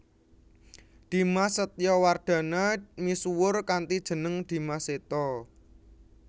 Dimas Setowardana misuwur kanthi jeneng Dimas Seto